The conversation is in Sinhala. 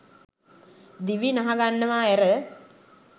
දිවි නහගන්නවා ඇර